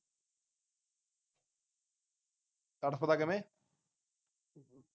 ਤੜਫਦਾ ਕਿਵੇਂ